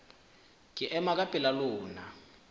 ke ema ka pela lona